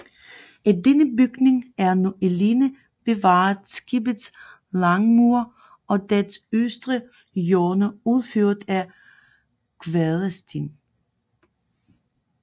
Af denne bygning er nu alene bevaret skibets langmure og dets østre hjørner udført af kvadersten